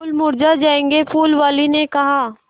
फूल मुरझा जायेंगे फूल वाली ने कहा